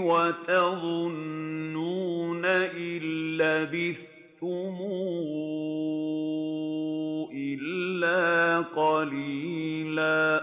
وَتَظُنُّونَ إِن لَّبِثْتُمْ إِلَّا قَلِيلًا